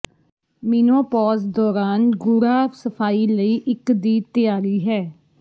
menopause ਦੌਰਾਨ ਗੂੜ੍ਹਾ ਸਫਾਈ ਲਈ ਇੱਕ ਦੀ ਤਿਆਰੀ ਹੈ